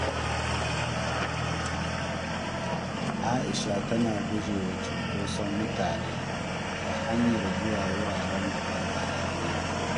Aisha tana guje wa cunkoson mutane ta hanyar zuwa wurare da babu hayaniya.